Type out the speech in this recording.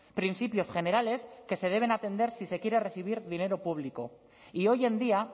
principios generales que se deben atender si se quiere recibir dinero público y hoy en día